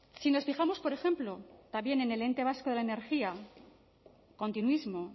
si nos fijamos por ejemplo también en el ente vasco de la energía continuismo